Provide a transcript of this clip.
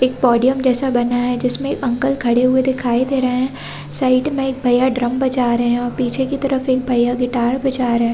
एक पोडियम जैसा बना है जिसमे अंकल खड़े हुए दिखाई दे रहे है साइड में एक भईया ड्रम बजा रहे है और पीछे की तरफ एक भईया गिटार बजा रहे है।